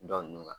Dɔ nunnu ka